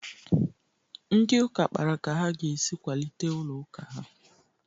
Ndị ụka kpara ka ha ga-esi kwalite ụlọ ụka ha.